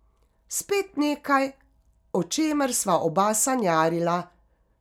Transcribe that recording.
Spet nekaj, o čemer sva oba sanjarila.